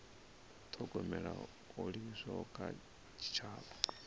thogomela ho livhiswaho kha tshitshavha